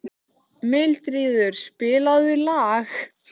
Þú stendur þig vel, Járngrímur!